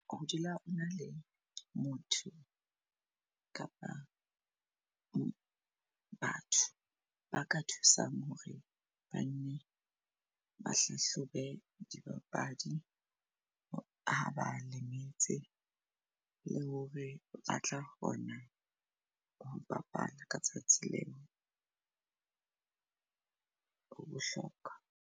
Ho dula o na le motho kapa batho ba ka thusang hore bane ba hlahlobe dibapadi, ha ba lemetse, le hore ba tla kgona ho bapala ka tsatsi leo ho bohlokwa.